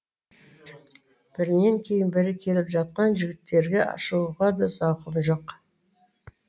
бірінен кейін бірі келіп жатқан жігіттерге шығуға да зауқым жоқ